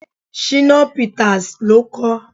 Shina Peters ló kọ ọ́.